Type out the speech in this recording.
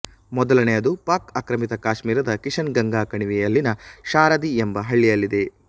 ಮೊದಲನೆಯದು ಪಾಕ್ ಆಕ್ರಮಿತ ಕಾಶ್ಮೀರದ ಕಿಷನ್ ಗಂಗಾ ಕಣಿವೆಯಲ್ಲಿನ ಶಾರದಿ ಎಂಬ ಹಳ್ಳಿಯಲ್ಲಿದೆ